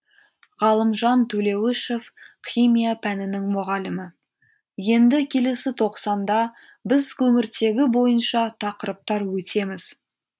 ғалымжан төлеуішев химия пәнінің мұғалімі енді келесі тоқсанда біз көміртегі бойынша тақырыптар өтеміз